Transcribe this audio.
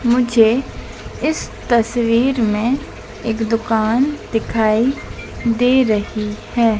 मुझे इस तस्वीर में एक दुकान दिखाई दे रही हैं।